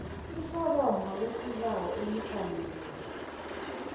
iforomo lesibawo elifaneleko